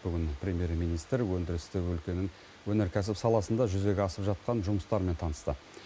бүгін премьер министр өндірісті өлкенің өнеркәсіп саласында жүзеге асып жатқан жұмыстармен танысты